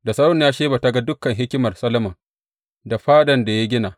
Da sarauniya Sheba ta ga dukan hikimar Solomon da fadan da ya gina.